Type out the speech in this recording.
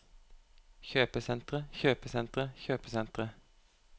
kjøpesentre kjøpesentre kjøpesentre